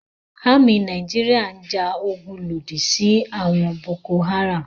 Àmì Nàìjíríà ń ja ogun lòdì sí àwọn Boko-Haram.